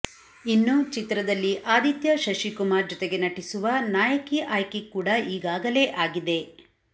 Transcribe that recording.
ಇನ್ನು ಚಿತ್ರದಲ್ಲಿ ಆದಿತ್ಯ ಶಶಿ ಕುಮಾರ್ ಜೊತೆಗೆ ನಟಿಸುವ ನಾಯಕಿ ಆಯ್ಕೆ ಕೂಡ ಈಗಾಗಲೇ ಆಗಿದೆ